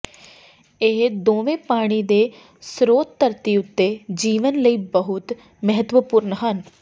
ਇਹ ਦੋਵੇਂ ਪਾਣੀ ਦੇ ਸਰੋਤ ਧਰਤੀ ਉੱਤੇ ਜੀਵਨ ਲਈ ਬਹੁਤ ਮਹੱਤਵਪੂਰਨ ਹਨ